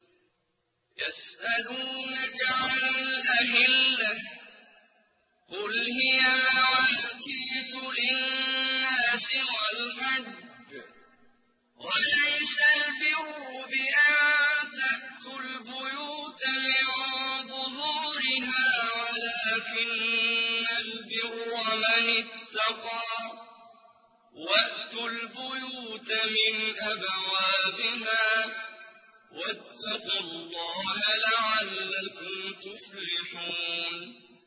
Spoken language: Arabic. ۞ يَسْأَلُونَكَ عَنِ الْأَهِلَّةِ ۖ قُلْ هِيَ مَوَاقِيتُ لِلنَّاسِ وَالْحَجِّ ۗ وَلَيْسَ الْبِرُّ بِأَن تَأْتُوا الْبُيُوتَ مِن ظُهُورِهَا وَلَٰكِنَّ الْبِرَّ مَنِ اتَّقَىٰ ۗ وَأْتُوا الْبُيُوتَ مِنْ أَبْوَابِهَا ۚ وَاتَّقُوا اللَّهَ لَعَلَّكُمْ تُفْلِحُونَ